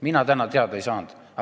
Mina täna teada ei saanud.